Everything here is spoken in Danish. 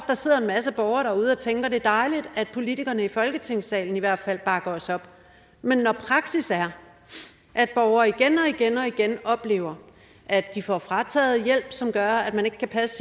der sidder en masse borgere derude og tænker at det er dejligt at politikerne i folketingssalen i hvert fald bakker os op men når praksis er at borgere igen og igen oplever at de får frataget hjælp som gør at de ikke kan passe